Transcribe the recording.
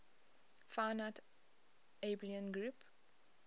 finite abelian group